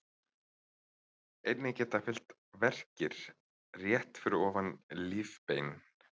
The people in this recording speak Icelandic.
Einnig geta fylgt verkir rétt fyrir ofan lífbein.